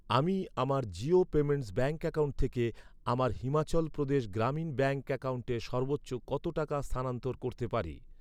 আমি আমার Jio payments bank account থেকে আমার হিমাচল প্রদেশ গ্রামীণ ব্যাঙ্ক অ্যাকাউন্টে সর্বোচ্চ কত টাকা স্থানান্তর করতে পারি?